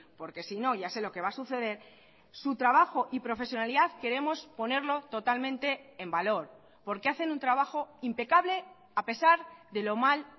porque si no ya sé lo que va a suceder su trabajo y profesionalidad queremos ponerlo totalmente en valor porque hacen un trabajo impecable a pesar de lo mal